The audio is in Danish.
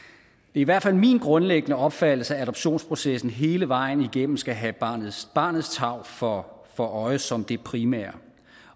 i hvert fald min grundlæggende opfattelse at adoptionsprocessen hele vejen igennem skal have barnets barnets tarv for for øje som det primære